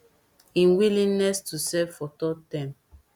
im willingness to serve for third term